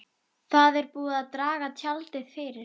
Það er búið að draga tjaldið fyrir.